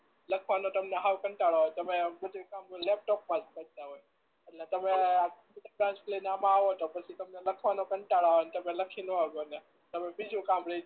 લખવાનો તમને હાવ કંટાળો આવે તમે બધુય કામ લેપટોપ માં જ કરતા હોય એટલે તમે આ લઈ ને આવો તો તમને પછી લખવાનો કંટાળો આવે ને તમે લખી ના હકો ને બીજું કામ રહી જાય